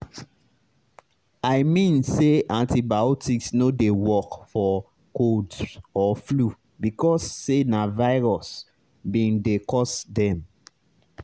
i mean say antibiotics no dey work for colds or flu because say na virus bin dey cause dem